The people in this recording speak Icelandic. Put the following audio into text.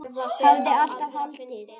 Hafði alltaf haldið.